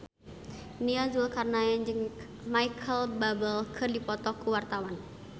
Nia Zulkarnaen jeung Micheal Bubble keur dipoto ku wartawan